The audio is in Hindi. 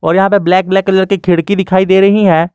और यहां पे ब्लैक ब्लैक कलर की खिड़की दिखाई दे रही है।